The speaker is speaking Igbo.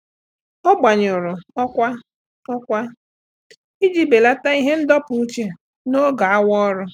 Ọ́ gbànyụ̀rụ̀ ọ́kwá ọ́kwá iji bèlàtá ihe ndọpụ uche n’ógè awa ọ́rụ́.